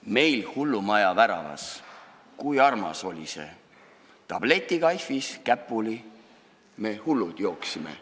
Meil hullumaja väravas, kui armas oli see, tabletikaifis käpuli me hullud jooksime.